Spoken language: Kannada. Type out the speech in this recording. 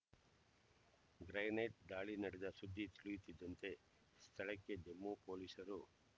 ಗ್ರೆನೇಡ್ ದಾಳಿ ನಡೆದ ಸುದ್ದಿ ತಿಳಿಯುತ್ತಿದ್ದಂತೆ ಸ್ಥಳಕ್ಕೆ ಜಮ್ಮು ಪೊಲೀಸರು